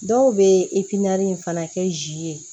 Dɔw bɛ fana kɛ zi ye